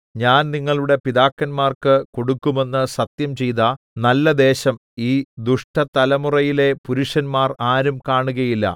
ഞാൻ നിങ്ങളുടെ പിതാക്കന്മാർക്ക് കൊടുക്കുമെന്ന് സത്യംചെയ്ത നല്ലദേശം ഈ ദുഷ്ടതലമുറയിലെ പുരുഷന്മാർ ആരും കാണുകയില്ല